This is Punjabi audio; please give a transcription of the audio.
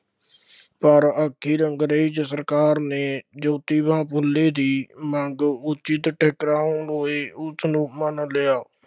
ਪਰ ਆਖਿਰ ਅੰਗਰੇਜ਼ ਸਰਕਾਰ ਨੇ ਜੋਤੀਬਾ ਫੂਲੇ ਦੀ ਮੰਗ ਉਚਿਤ ਲਈ ਉਸਨੂੰ ਮੰਨ ਲਿਆ,